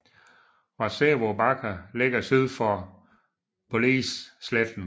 Warszewo Bakker ligger syd for Police Sletten